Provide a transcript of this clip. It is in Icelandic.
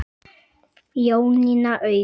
Jónína Auður.